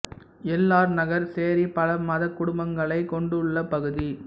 L R Nagar சேரி பல மதக் குடும்பங்களை கொண்டுள்ள பகுதி